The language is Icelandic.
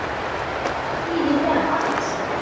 Nonni ætlar á skíði í fyrramálið, sagði hún.